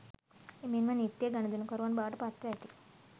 එමෙන්ම නිත්‍ය ගනුදෙනුකරුවන් බවට පත්ව ඇති